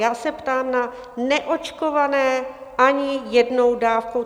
Já se ptám na neočkované ani jednou dávkou.